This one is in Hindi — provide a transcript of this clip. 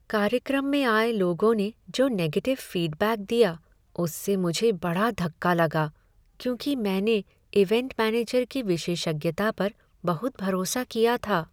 कार्यक्रम में आए लोगों ने जो निगेटिव फीडबैक दिया उससे मुझे बड़ धक्का लगा, क्योंकि मैंने इवैंट मैनेजर की विशेषज्ञता पर बहुत भरोसा किया था।